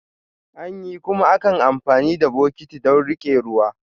Anyi, kuma ankan amfani da bokitti don rike ruwa.